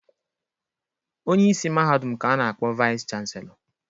Onyeisi mahadum ka a na-akpọ Vaịsị chanselọ.